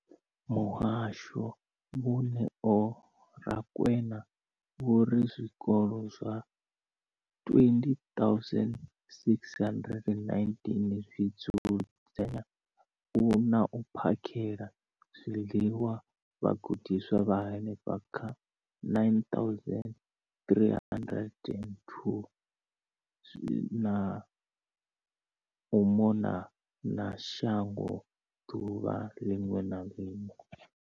Muhasho, Vho Neo Rakwena, vho ri zwikolo zwa 20 619 zwi dzudzanya na u phakhela zwiḽiwa vhagudiswa vha henefha kha 9 032 622 u mona na shango ḓuvha ḽiṅwe na ḽiṅwe.